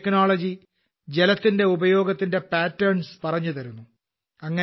ഈ ടെക്നോളജി ജലത്തിന്റെ ഉപയോഗത്തിന്റെ പാറ്റർൻസ് പറഞ്ഞുതരുന്നു